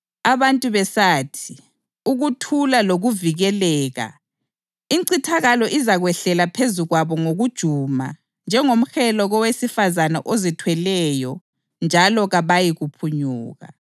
Abantu besathi, “Ukuthula lokuvikeleka,” incithakalo izakwehlela phezu kwabo ngokujuma njengomhelo kowesifazane ozithweleyo njalo kabayikuphunyuka.